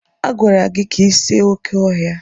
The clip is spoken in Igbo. Agwara gị ka ị see oké ọhịa!